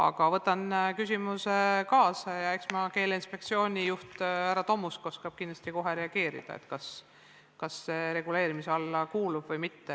Aga võtan küsimuse kaasa ja eks Keeleinspektsiooni juht härra Tomusk oskab kindlasti kohe reageerida ja öelda, kas see kuulub reguleerimise alla või mitte.